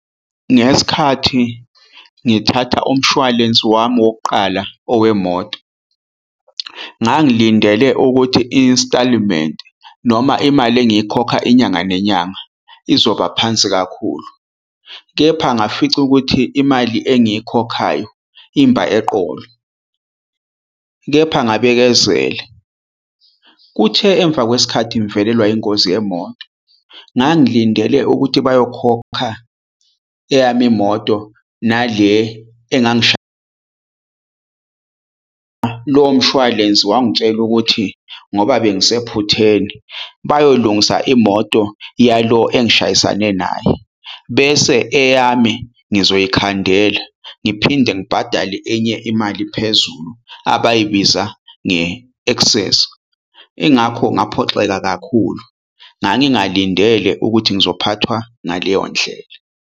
Ngesikhathi ngithatha umshwalense wami wokuqala owemoto, ngangilindele ukuthi i-instalment noma imali engayikhokha inyanga nenyanga izoba phansi kakhulu. Kepha ngafica ukuthi imali engiyikhokhayo imba eqolo, kepha ngabekezela. Kuthe emva kwesikhathi ngivelelwa ingozi yemoto, ngangilindele ukuthi bayokhokha eyami imoto nale lo mshwalense. Wangitshela ukuthi ngoba bengisephutheni bayoyilungisa imoto yalo engishayisane naye, bese eyami ngizoyikhandela ngiphinde ngibhadale enye imali phezulu abayibiza nge-excess. Ingakho ngaphoxeka kakhulu, ngangingalindele ukuthi ngizophathwa ngaleyo ndlela.